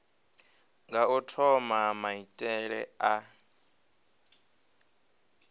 nga u thoma maitele a